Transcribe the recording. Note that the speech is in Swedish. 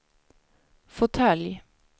fåtölj